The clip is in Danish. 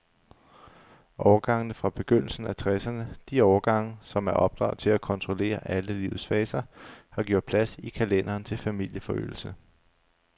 Årgangene fra begyndelsen af tresserne, de årgange, som er opdraget til at kontrollere alle livets faser, har gjort plads i kalenderen til familieforøgelse.